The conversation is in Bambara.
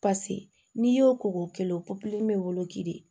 Paseke n'i y'o ko k'o kɛlen o bɛ wolo ke de ye